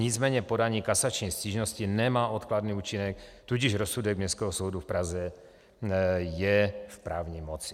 Nicméně podání kasační stížnosti nemá odkladný účinek, tudíž rozsudek Městského soudu v Praze je v právní moci.